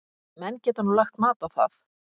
Menn geta nú lagt mat á það.